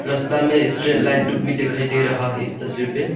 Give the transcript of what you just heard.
रास्ता में straight light दुप भी दिखाई दे रहा है इस तस्वीर पे।